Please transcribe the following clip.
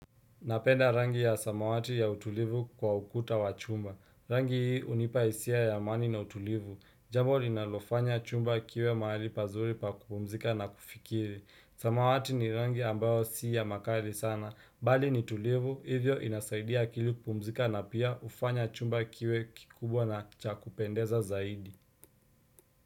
Napenda rangi ya samawati ya utulivu kwa ukuta wa chumba. Rangi hii unipa isia ya amani na utulivu. Jambo linalofanya chumba kiwe mahali pazuri pa kupumzika na kufikiri. Samawati ni rangi ambayo si ya makali sana. Bali ni tulivu, hivyo inasaidia akili kupumzika na pia ufanya chumba kiwe kikubwa na cha kupendeza zaidi.